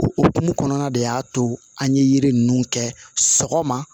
O okumu kɔnɔna de y'a to an ye yiri ninnu kɛ sɔgɔma